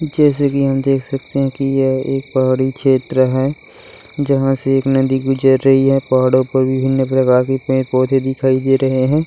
जैसा कि हम दिख सकते है यह एक पहाड़ी छेत्र है जहाँ से एक नदी गुजर रही है पहाड़ो पर विभिन्न लगाके पेड़ पौधे दिखाई दे रहें हैं।